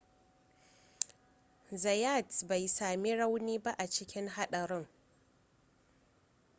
zayat bai sami rauni ba a cikin haɗarin